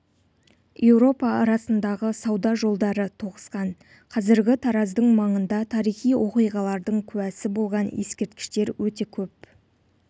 еуропа арасындағы сауда жолдары тоғысқан қазіргі тараздың маңында тарихи оқиғалардың куәсі болған ескерткіштер өте көп